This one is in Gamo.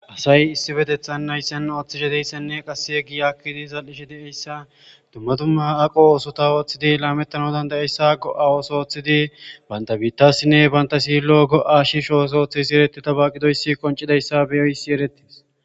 asay issi bedethan nayssen ooththishe deyssenne qassi yeggi aakkidi zal7ishe de7eyssa dumma dumma aqo oosota ooththidi laamettana dandayeyssa go7a wooso ooththidi banta biittassinne banta silo go7a shi shooso ooththe si eretti tabaqidoyssi qoncidayssa beyoysi erettis